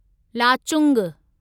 Lachung